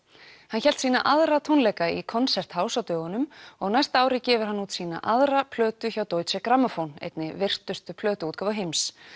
hann hélt sína aðra tónleika í Konzerthaus á dögunum og á næsta ári gefur hann út sína aðra plötu hjá Deutsche einni virtustu plötuútgáfu heims